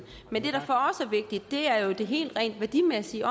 er jo det helt rent værdimæssige